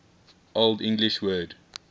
old english word